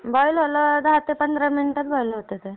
Boil व्हायला दहा ते पंधरा मिनिटांत बॉईल होता ते.